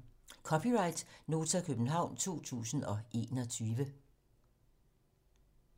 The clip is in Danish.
(c) Nota, København 2021